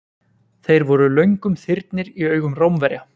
Þeir voru löngum þyrnir í augum Rómverja.